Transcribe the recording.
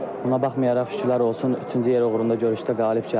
Buna baxmayaraq şükürlər olsun, üçüncü yer uğrunda görüşdə qalib gəldim.